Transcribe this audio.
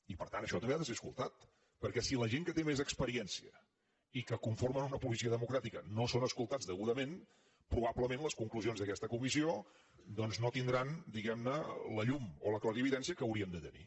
i per tant això també ha de ser escoltat perquè si la gent que té més experiència i que conformen una policia democràtica no són escoltats degudament probablement les conclusions d’aquesta comissió doncs no tindran diguem ne la llum o la clarividència que haurien de tenir